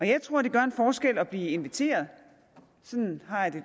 jeg tror det gør en forskel at blive inviteret sådan har jeg det